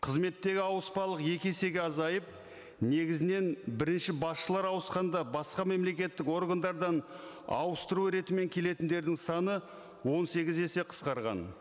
қызметтегі ауыспалық екі есеге азайып негізінен бірінші басшылар ауысқанда басқа мемлекеттік органдардан ауыстыру ретімен келетіндердің саны он сегіз есе қысқарған